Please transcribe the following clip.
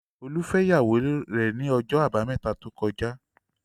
Olú fẹ́ ìyàwó rẹ̀ ní ọjọ́ àbámẹ́ta tó kọjá.